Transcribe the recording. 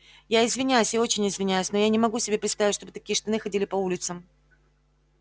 я извиняюсь я очень извиняюсь но я не могу себе представить чтобы такие штаны ходили по улицам